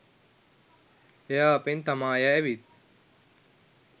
එයා අපෙන් තමාය ඇවිත්